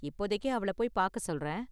இப்போதைக்கு அவள போய் பார்க்க சொல்றேன்.